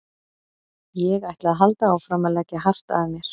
Ég ætla að halda áfram að leggja hart að mér.